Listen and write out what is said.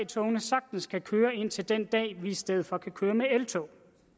togene sagtens kan køre ind til den dag vi i stedet for kan køre med eltog